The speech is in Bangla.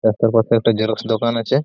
রাস্তার পাশে একটা জেরক্স দোকান আছে।